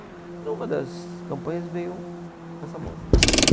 E numa das campanhas veio essa moça.